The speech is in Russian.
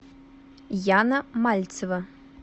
яна мальцева